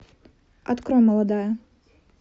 открой молодая